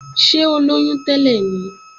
Ṣé ó lóyún tẹ́lẹ̀ ni?